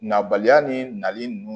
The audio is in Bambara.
Nabaliya ni nali nunnu